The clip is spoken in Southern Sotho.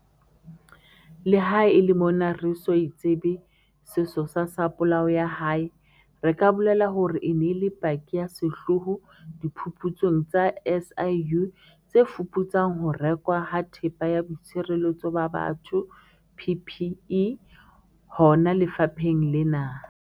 Leha e le mona re eso tsebe sesosa sa polao ya hae, re ka bolela hore e ne e le paki ya sehlooho diphuputsong tsa SIU tse fuputsang ho rekwa ha Thepa ya Boitshireletso ba Batho, PPE, hona lefapheng lena.